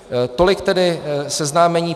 Tolik tedy seznámení.